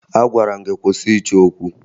Agwara m gị kwụsị ịchọ okwu!